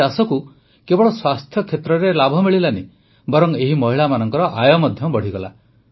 ଏହି ଚାଷକୁ କେବଳ ସ୍ୱାସ୍ଥ୍ୟକ୍ଷେତ୍ରରେ ଲାଭ ମିଳିଲାନି ବରଂ ଏହି ମହିଳାମାନଙ୍କର ଆୟ ମଧ୍ୟ ବଢ଼ିଗଲା